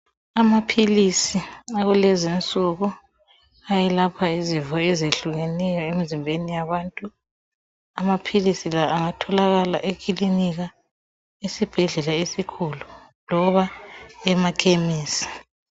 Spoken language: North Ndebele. Amaphilisi akulezinsuku ayelapha izifo ezehlukeneyo emzimbeni yabantu. Amaphilisi la angatholakala emakilinika, esibhedlela esikhulu loba emakhemisi.